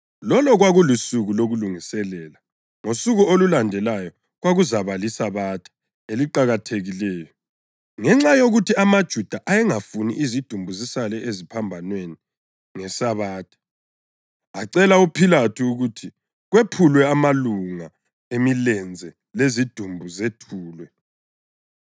Lolo kwakulusuku lokuLungiselela, ngosuku olulandelayo kwakuzakuba liSabatha eliqakathekileyo. Ngenxa yokuthi amaJuda ayengafuni izidumbu zisale eziphambanweni ngeSabatha, acela uPhilathu ukuthi kwephulwe amalunga emilenze lezidumbu zethulwe.